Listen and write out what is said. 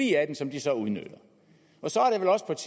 et af dem som de så udnytter så